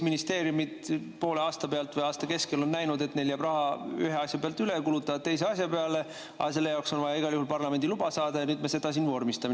Ministeeriumid on poole aasta pealt või aasta keskel näinud, et neil jääb raha ühe asja pealt üle, kulutavad selle teise asja peale, aga selle jaoks on vaja igal juhul parlamendi luba saada ja nüüd me seda siin vormistame.